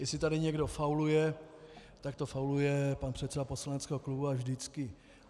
Jestli tady někdo fauluje, tak to fauluje pan předseda poslaneckého klubu, a vždycky.